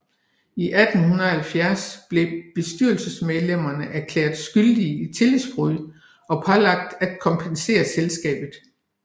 I 1870 blev bestyrelsesmedlemmerne erklæret skyldig i tillidsbrud og pålagt at kompensere selskabet